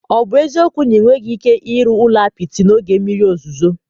Ọ bụ eziokwu na ị nweghị ike ịrụ ụlọ apịtị n'oge mmiri ozuzo?